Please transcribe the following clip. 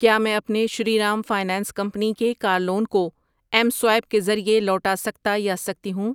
کیا میں اپنے شری رام فائنانس کمپنی کے کار لون کو ایم سوائیپ کے ذریعے لوٹا سکتا یا سکتی ہوں؟